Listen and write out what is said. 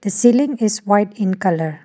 the ceiling is white in colour.